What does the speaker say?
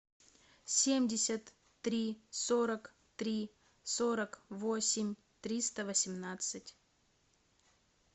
семьдесят три сорок три сорок восемь триста восемнадцать